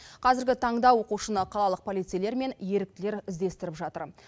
қазіргі таңда оқушыны қалалық полицейлер мен еріктілер іздестіріп жатыр